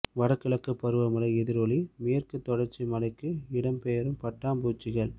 வடகிழக்கு பருவமழை எதிரொலி மேற்கு தொடர்ச்சி மலைக்கு இடம் பெயரும் பட்டாம் பூச்சிகள்